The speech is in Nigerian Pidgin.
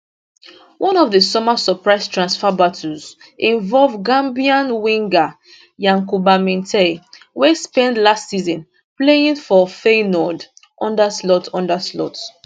one of di summer surprise transfer battles involve gambian winger yankuba minteh wey spend last season playing for feyenoord under slot under slot